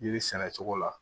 Yiri sɛnɛ cogo la